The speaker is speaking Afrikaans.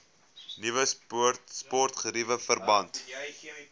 nuwe sportgeriewe verband